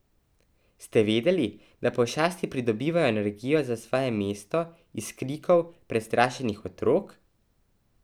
Ste vedeli, da pošasti pridobivajo energijo za svoje mesto iz krikov prestrašenih otrok?